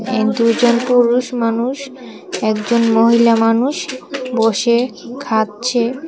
এক দুজন পুরুষ মানুষ একজন মহিলা মানুষ বসে খাচ্ছে।